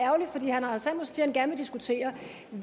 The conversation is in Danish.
han gerne vil diskutere